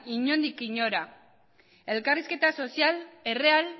inondik inora ere elkarrizketa sozial erreal